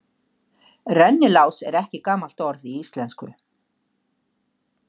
Rennilás er ekki gamalt orð í íslensku.